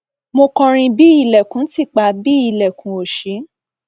mo kọrin bí ilẹkùn ti pa bí ilẹkùn ò sí